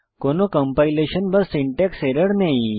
কোনো কম্পাইলেশন বা syntax error নেই